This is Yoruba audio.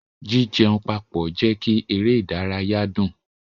Jijẹ papọ jẹ kí eré ìdárayá dùn.